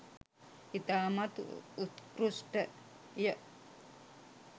ඉතාමත් උත්කෘෂ්ඨය